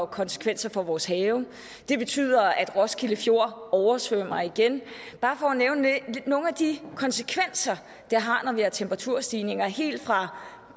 konsekvenser for vores have det betyder at roskilde fjord oversvømmer igen bare for at nævne nogle af de konsekvenser det har når vi har temperaturstigninger helt fra